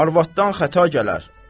Arvaddan xəta gələr.